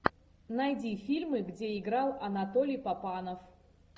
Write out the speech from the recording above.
найди фильмы где играл анатолий папанов